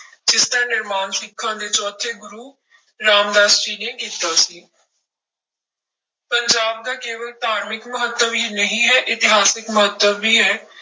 ਜਿਸਦਾ ਨਿਰਮਾਣ ਸਿੱਖਾਂ ਦੇ ਚੌਥੇ ਗੁਰੂ ਰਾਮਦਾਸ ਜੀ ਨੇ ਕੀਤਾ ਸੀ ਪੰਜਾਬ ਦਾ ਕੇਵਲ ਧਾਰਮਿਕ ਮਹੱਤਵ ਹੀ ਨਹੀਂ ਹੈ, ਇਤਿਹਾਸਕ ਮਹੱਤਵ ਵੀ ਹੈ।